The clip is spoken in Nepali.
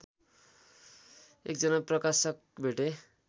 एकजना प्रकाशक भेटे